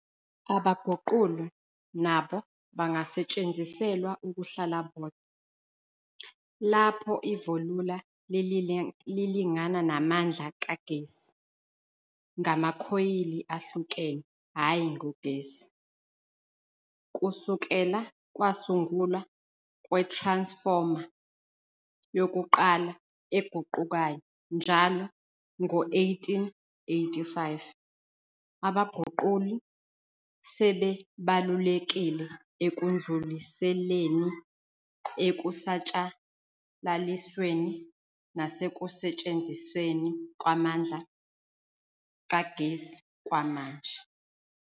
Abaguquli nabo bangasetshenziselwa ukuhlala bodwa, lapho ivolula lilingana namandla kagesi, ngamakhoyili ahlukene hhayi ngogesi. Kusukela kwasungulwa kwe-transformer yokuqala eguqukayo njalo ngo-1885, abaguquli sebebalulekile ekudluliseleni, ekusatshalalisweni nasekusetshenzisweni kwamandla kagesi kwamanje.